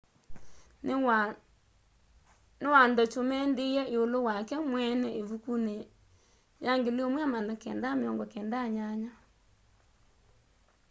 niwandokyumendie iulu wake mweene ivukuni ya 1998